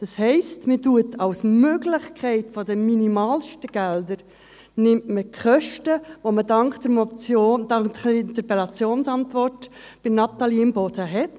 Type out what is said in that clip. Das heisst: Man nimmt als Möglichkeit der minimalsten Gelder die Kosten, die man dank der Antwort auf die Interpellation von Natalie Imboden hat.